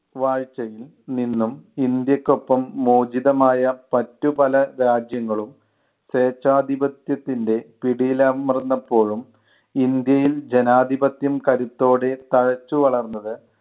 വാഴ്ച്ചയിൽ നിന്നും ഇന്ത്യക്കൊപ്പം മോചിതമായ മറ്റു പല രാജ്യങ്ങളും സ്വേച്ഛാധിപത്യത്തിൻ്റെ പിടിയിലമർന്നപ്പോഴും ഇന്ത്യയിൽ ജനാധിപത്യം കരുത്തോടെ തഴച്ചു വളർന്നത്